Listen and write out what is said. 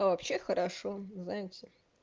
а вообще хорошо знаете